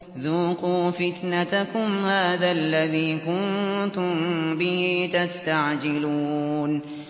ذُوقُوا فِتْنَتَكُمْ هَٰذَا الَّذِي كُنتُم بِهِ تَسْتَعْجِلُونَ